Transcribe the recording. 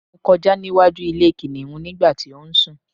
mo kọjá níwájú ilé kìnìhún nígbà tí ó ń sù